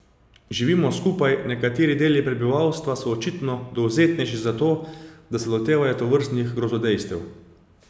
Živimo skupaj, nekateri deli prebivalstva so očitno dovzetnejši za to, da se lotevajo tovrstnih grozodejstev.